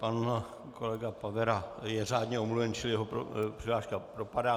Pan kolega Pavera je řádně omluven, čili jeho přihláška propadá.